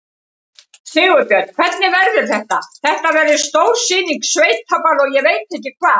Sigurbjörn, hvernig verður þetta, þetta verður stór sýning, sveitaball og ég veit ekki hvað?